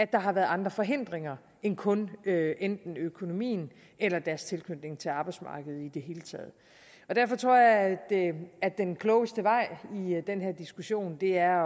der har været andre forhindringer end kun enten økonomien eller deres tilknytning til arbejdsmarkedet i det hele taget derfor tror jeg at den klogeste vej i den her diskussion er